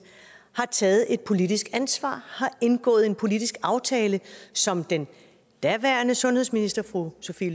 har taget et politisk ansvar har indgået en politisk aftale aftale som den daværende sundhedsminister fru sophie